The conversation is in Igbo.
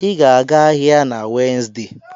Ị ga-aga ahịa na Wenzday